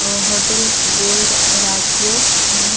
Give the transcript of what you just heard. अ hotel Gold Rajyog आणि --